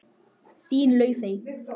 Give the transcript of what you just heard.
Þín, Laufey.